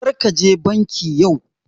Karka je banki yau